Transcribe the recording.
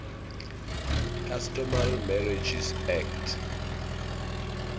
customary marriages act